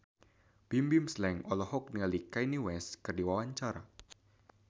Bimbim Slank olohok ningali Kanye West keur diwawancara